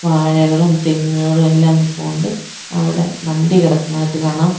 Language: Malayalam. വാഴകളും തെങ്ങുകളും എല്ലാം നിപ്പുണ്ട് അവിടെ വണ്ടി കിടക്കുന്നതായിട്ട് കാണാം.